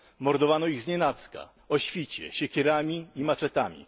Mordowano ich znienacka, o świcie, siekierami i maczetami.